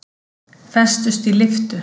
Festust í lyftu